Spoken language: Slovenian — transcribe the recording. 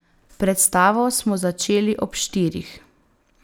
Predstavo smo začeli ob štirih.